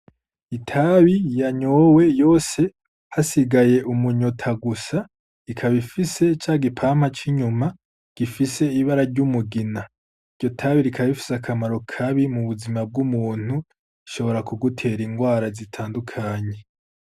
Itabi yanyowe yose hasigaye umunyota gusa ikaba ifise ca gipampa c'inyuma gifise ibara ry'umugina. Iryo tabi rikaba rifise akamaro kabi mu buzima bw'umuntu, rishibora kugutera ingwara bitandukanye.